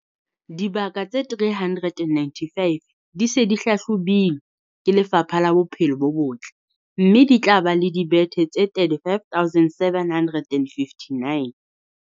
Dibaka tse 395 di se di hlahlobilwe ke Lefapha la Bophelo bo Botle, mme di tla ba le dibethe tse 35 759.